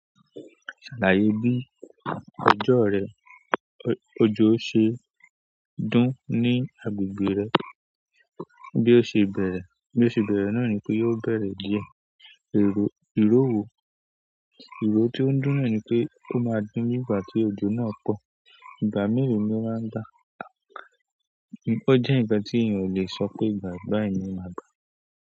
Ṣàlàyé bí ọjọ́ rẹ, ojo ṣe dún ní agbègbè rẹ, bí ó ṣe bẹ̀rẹ̀, bí ó ṣe bẹ̀rẹ̀ náà ni pé yóò bẹ̀rẹ̀ díẹ̀. Èrò, ìróoo ìró tí ó ń dún na nì pé ó máa dùn nígbà tí ojò náà pọ̀. Ìgbà mìí ló máa ń dà. Ó jẹ́ nkán tí ìyẹn ò lè sọ pé ìgbà báyìí ni o máa gbà.